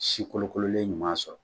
Sikolokololen ɲuman sɔrɔ